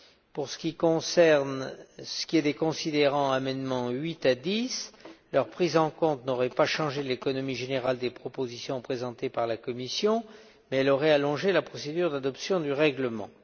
Pour ce qui est des considérants amendements 8 à 10 leur prise en compte n'aurait pas changé l'économie générale des propositions présentées par la Commission, mais elle aurait allongé la procédure d'adoption du règlement.